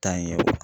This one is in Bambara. Taa ɲɛ